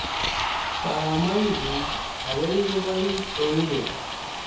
Sorormoikkuk makoi pais kou keny